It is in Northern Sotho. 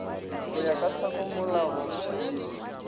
go ya ka tlhakamolao ye